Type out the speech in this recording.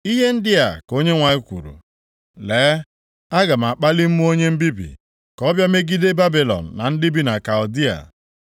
Ihe ndị a ka Onyenwe anyị kwuru, “Lee, aga m akpali mmụọ onye mbibi, ka ọ bịa megide Babilọn na ndị bi na Kaldịa.